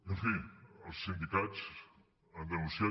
en fi els sindicats han denunciat